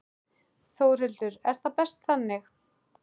Þórhildur: Er það best þannig?